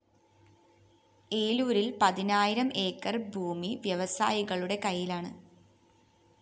ഏലൂരില്‍ പതിനായിരം ആക്രി ഭൂമി വ്യവസായികളുടെ കൈയ്യിലാണ്‌